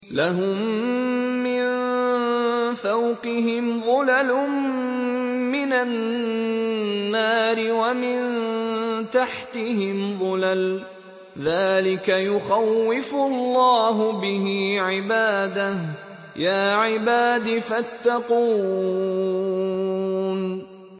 لَهُم مِّن فَوْقِهِمْ ظُلَلٌ مِّنَ النَّارِ وَمِن تَحْتِهِمْ ظُلَلٌ ۚ ذَٰلِكَ يُخَوِّفُ اللَّهُ بِهِ عِبَادَهُ ۚ يَا عِبَادِ فَاتَّقُونِ